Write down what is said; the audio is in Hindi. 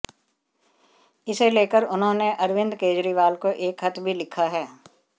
इसे लेकर उन्होंने अरविंद केजरीवाल को एक खत भी लिखा है